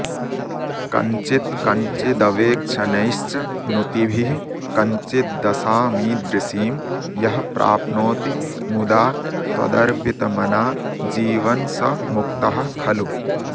कञ्चित् कञ्चिदवेक्षनैश्च नुतिभिः कञ्चिद्दशामीदृशीं यः प्राप्नोति मुदा त्वदर्पितमना जीवन् स मुक्तः खलु